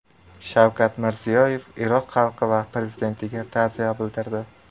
Shavkat Mirziyoyev Iroq xalqi va prezidentiga ta’ziya bildirdi.